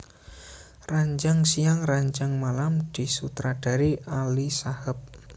Ranjang Siang Ranjang Malam disutradarai Ali Shahab